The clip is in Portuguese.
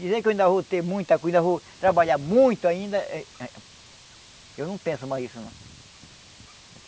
Dizer que eu ainda vou ter muita coisa, vou trabalhar muito ainda, eu não penso mais nisso não.